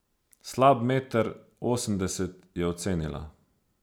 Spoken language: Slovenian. Slab meter osemdeset, je ocenila.